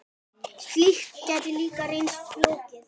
Slíkt gæti líka reynst flókið.